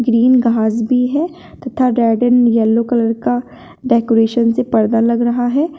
Green घास भी है तथा गार्डेन में येलो कलर का डेकोरेशन से पर्दा लग रहा है।